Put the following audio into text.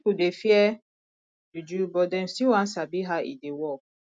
pipo dey fear juju but dem still wan sabi how e dey work